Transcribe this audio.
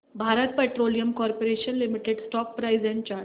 Bharat petroleum corporation limited stock price and chart